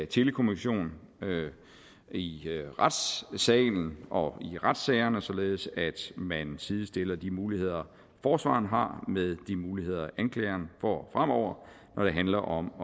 telekommunikation i retssalen og i retssagerne således at man sidestiller de muligheder forsvareren har med de muligheder anklageren får fremover når det handler om